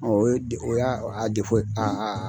o ye o y'a a ye